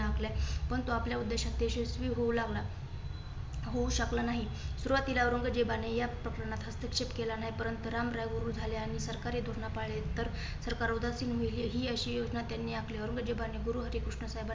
पण तो आपल्या उद्धेशात यशस्वी होऊ लागला. होऊ शकला नाही. सुरुवातीला औरंगजेबाने या प्रकरणात हस्तक्षेप केला नाही, परंतु रामराय आम्ही सरकारी धोरणा पाहिले. तर सरकार उदासीन होईल हि अशी योजना त्यांनी आखली. औरंगजेबाने गुरु हरिकृष्ण